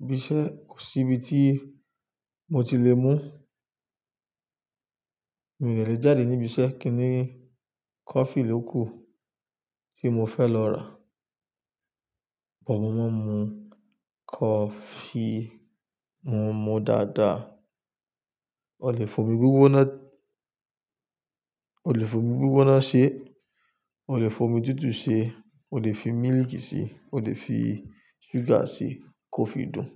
ibi iṣẹ́ kò sí ibi tí mo ti lè mú. Mi ò dè lè jáde níbi iṣẹ́ kí ni coffee ló kù tí mo fẹ́ lọ rà. But mo máa ń mu coffee, mo ń mu dáadáa. O lè fi omi gbígbóná, o lè fi omi gbígbóná ṣe, o lè fi omi tútù ṣe, o lè fi mílìkì síi, o lè fi ṣúgà síi, coffee dùn.